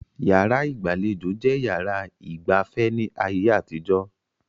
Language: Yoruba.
Yàrá ìgbàlejò jẹ́ yàrá ìgba afẹ́ ní ayé àtijó